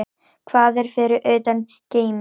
Hvað er fyrir utan geiminn?